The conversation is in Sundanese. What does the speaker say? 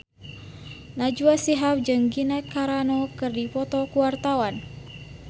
Najwa Shihab jeung Gina Carano keur dipoto ku wartawan